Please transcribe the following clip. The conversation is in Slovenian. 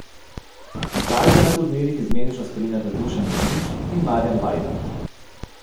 Zdaj ga na turnirjih izmenično spremljata Dušan Vemić in Marijan Vajda.